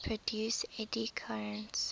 produce eddy currents